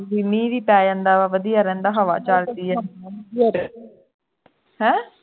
ਬਈ ਮੀਂਹ ਵੀ ਪੈ ਜਾਂਦਾ ਹੈ ਵਧੀਆ ਰਹਿੰਦਾ ਹੈ ਹਵਾ ਚਲਦੀ ਹੈ ਕੀ ਹੋ ਰਿਹਾ ਹੈ ਹੈਂ